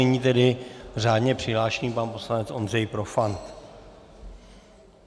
Nyní tedy řádně přihlášený pan poslanec Ondřej Profant.